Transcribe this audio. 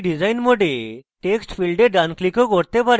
আপনি এখানে design mode text ফীল্ডে ডান click ও করতে পারেন